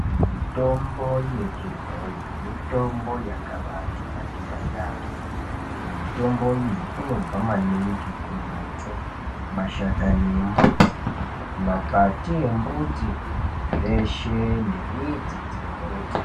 Mitombo yechibhoyi mitombo yakaba tianakira yambo mitombo iyi inobva maningu kumbuti mashakani embuti makwati embuti zveshe nemidzi dzembuti.